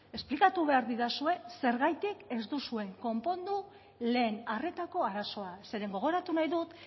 esplikatu behar didazue zergatik ez duzue konpondu lehen arretako arazoa zeren gogoratu nahi dut